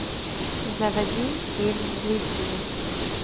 заводи фильм близкие